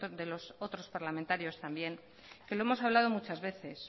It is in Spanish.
de los otros parlamentarios también que lo hemos hablado muchas veces